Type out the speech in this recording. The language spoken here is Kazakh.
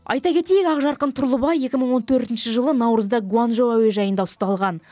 айта кетейік ақжарқын тұрлыбай екі мың он төртінші жылы наурызда гуанчжоу әуежайында ұсталған